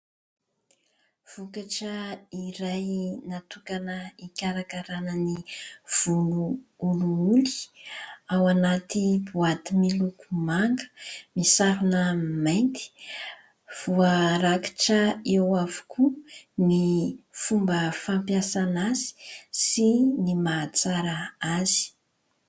Vokatra iray natokana hikarakarana ny volo olioly ao anaty boaty miloko manga, misarona mainty, voarakitra eo avokoa ny fomba fampiasana azy sy ny mahatsara azy.